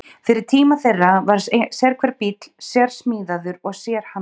Fyrir tíma þeirra var sérhver bíll sérsmíðaður og sérhannaður.